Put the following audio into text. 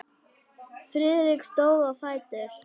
Friðrik stóð á fætur.